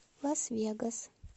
лас вегас